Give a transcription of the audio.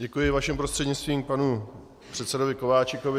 Děkuji vaším prostřednictvím panu předsedovi Kováčikovi.